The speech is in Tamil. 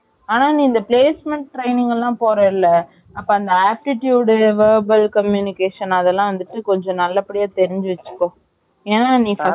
ஆ நீ இந்த placement training எல்லாம் போறலா அந்த aptitude verbal communication அதுலாம் வந்துட்டு கொஞ்சம் நல்லபடியா தெரிஞ்சி வச்சிக்கோ ஏன்னா நீ வந்துட்டு